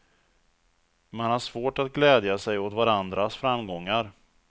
Man har svårt att glädja sig åt varandras framgångar.